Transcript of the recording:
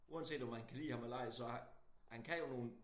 Uanset om man kan lide ham eller ej så er han kan jo nogen